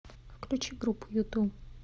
включи группу юту